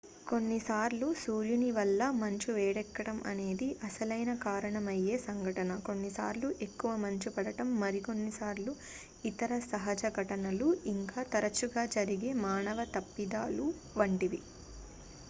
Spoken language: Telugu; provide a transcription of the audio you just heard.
కొన్ని సార్లు సూర్యుని వల్ల మంచు వేడెక్కడం అనేది అసలైన కారణమయ్యే సంఘటన కొన్నిసార్లు ఎక్కువ మంచు పడడం మరికొన్ని సార్లు ఇతర సహజ ఘటనలు ఇంకా తరచుగా జరిగే మానవ తప్పిదాలు వంటివి